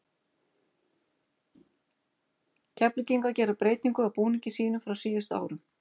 Keflvíkingar gera breytingu á búningi sínum frá síðustu árum.